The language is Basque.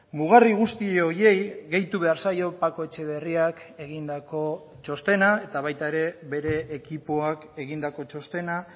mugarri guzti horiei gehitu behar zaio paco etxeberriak egindako txostena eta baita ere bere ekipoak egindako txostena